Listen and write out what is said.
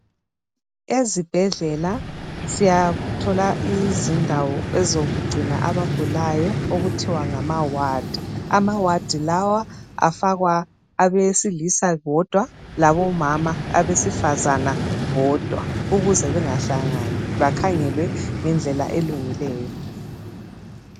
Ezibhendlela siyathola izindawo ezokugcina abagulayo okuthiwa ngamaward amaward lawa abesilisa bodwa labomama abesifazana bodwa ukuze bengahlangani bakhangelwe ngendlela elungileyo